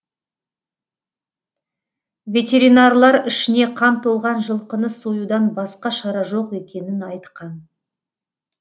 ветеринарлар ішіне қан толған жылқыны союдан басқа шара жоқ екенін айтқан